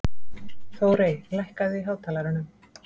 Þórey, lækkaðu í hátalaranum.